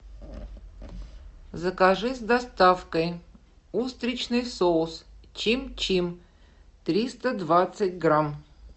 закажи с доставкой устричный соус чим чим триста двадцать грамм